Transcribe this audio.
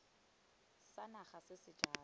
sa naga se se jalo